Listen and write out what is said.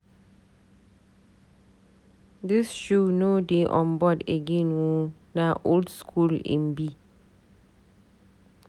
Dis shoe no dey on board again o, na old skool im be.